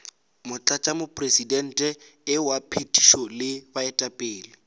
motlatšamopresidente wa phethišo le baetapele